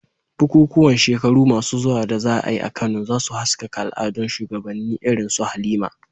Bukukuwan shekaru masu zuwa da za a yi a Kano, za su haskaka al'adun shugabanni irin su Halima.